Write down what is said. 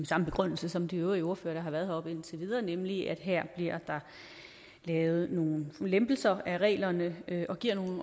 samme begrundelse som de øvrige ordførere der har været heroppe indtil videre nemlig at her bliver der lavet nogle lempelser af reglerne